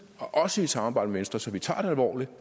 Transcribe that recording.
og også i samarbejde med venstre så vi tager det alvorligt